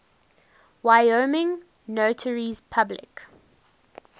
wyoming notaries public